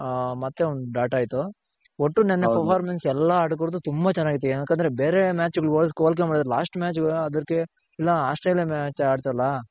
ಹಾ ಮತ್ತೆ ಒಂದ್ bat ಆಯ್ತು ಒಟ್ಟು ನೆನ್ನೆ performance ಎಲ್ಲ ಆಟಗಾರರ್ದು ತುಂಬ ಚೆನಾಗಿತ್ತು ಯಾಕಂದ್ರೆ ಬೇರೆ match ಹೋಲ್ಕೆ ಮಾಡಿದ್ರೆ last match ಅದ್ರ್ಕೆ ಇಲ್ಲ ಆಸ್ಟ್ರೇಲಿಯ match ಆಡ್ತಲ